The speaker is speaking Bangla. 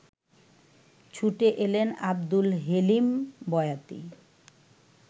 ছুটে এলেন আবদুল হেলিম বয়াতি